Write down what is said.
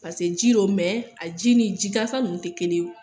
Paseke ji don a ji ni jigansan nunnu te kelen wo.